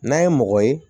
N'a ye mɔgɔ ye